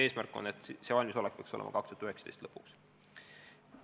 Eesmärk on, et see valmisolek peaks olema 2019. aasta lõpuks.